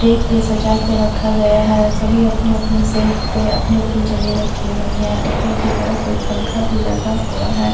Take पे सजा के रखा गया है और सभी अपनी-अपनी सेल्फ पे अपनी-अपनी जगह रखी हुई है ऊपर के तरफ एक पंखा भी लगा हुआ है।